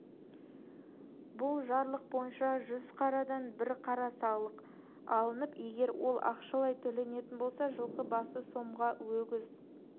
бұл жарлық бойынша жүз қарадан бір қара салық алынып егер ол ақшадай төленетін болса жылқы басы сомға өгіз